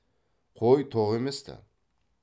қой тоқ емес ті